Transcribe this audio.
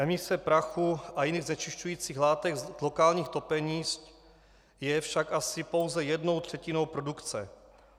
Emise prachu a jiných znečišťujících látek z lokálních topení je však asi pouze jednou třetinou produkce.